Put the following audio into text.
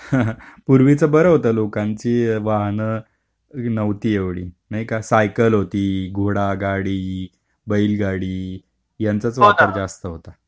हं हं. पूर्वीचे बरं होतं की लोकांची वाहन नव्हती एवढी नाही का? सायकल होती, घोडा गाडी, बैलगाडी यांचाच वापर जास्त होता.